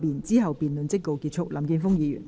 之後辯論即告結束。